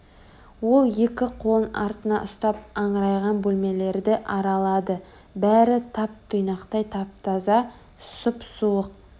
ол екі қолын артына ұстап аңырайған бөлмелерді аралады бәрі тап-тұйнақтай тап-таза сұп-суық